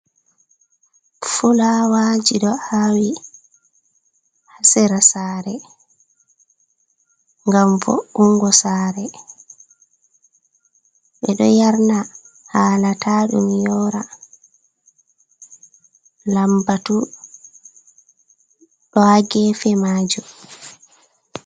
Fulawaji ɗo awi hasira sare, ngam vo'ungo sare ɓeɗo yarna halata ɗum yora, lambatu ɗo hagefe majum.